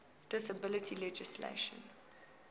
disability legislation